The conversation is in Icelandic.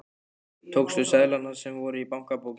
Og tókstu seðlana sem voru í bankabókinni?